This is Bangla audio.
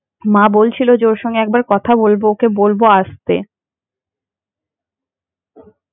মা বলছিলো যে ওরা সাথে একবার কথা বলবো ওকে বলবো একবার আসতে।